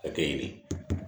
Hakɛ ɲini